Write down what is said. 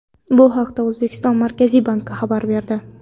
Bu haqda O‘zbekiston Markaziy banki xabar berdi .